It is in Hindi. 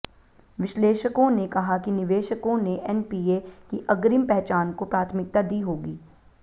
विश्लेषकों ने कहा कि निवेशकों ने एनपीए की अग्रिम पहचान को प्राथमिकता दी होगी